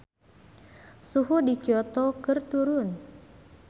Suhu di Kyoto keur turun